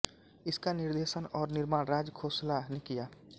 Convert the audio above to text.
इसका निर्देशन और निर्माण राज खोसला ने किया